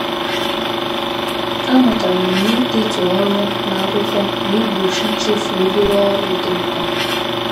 A mụtara m na-idetu ọrụ n'akwụkwọ na-egbochi ichefu obere ọrụ dị mkpa